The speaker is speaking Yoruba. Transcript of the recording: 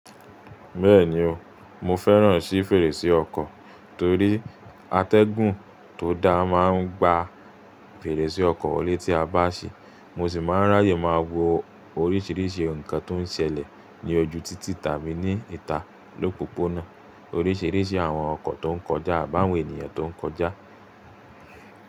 Bẹ́ẹ̀ni o, mo fẹ́ràn sí fèrèsé ọkọ̀ torí atẹ́gùn tó da máa ń gba fèrèsé ọkọ̀ tí a bá ṣi, mo sì máa ń raáyè máa wo oríṣiríṣi nǹkan tó ń ṣẹlẹ̀ ní ojú títì tàbí ní ìta lópópónà, oríṣiríṣi àwọn ọkọ̀ tó ń kọjá àbi awon ènìyàn tó ń kọjá.